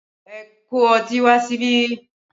Ẹ kó ọtí wá síbí!